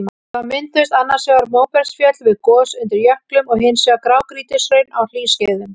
Þá mynduðust annars vegar móbergsfjöll við gos undir jöklum og hins vegar grágrýtishraun á hlýskeiðum.